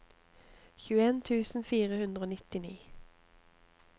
tjueen tusen fire hundre og nittini